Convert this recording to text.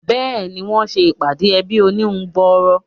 Béèni, wọ́n se ìpàdé ẹbí oníhun gbòòrò